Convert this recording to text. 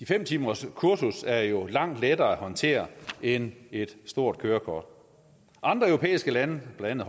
fem timerskursus er jo langt lettere at håndtere end et stort kørekort andre europæiske lande blandt